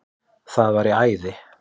Það væri æði